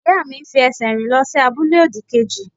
Ìyá mi ń fi ẹsẹ̀ rìn lọ sí abúlé òdì-kejì.